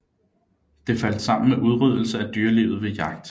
Det faldt sammen med udryddelse af dyrelivet ved jagt